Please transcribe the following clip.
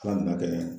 Ala nana kɛ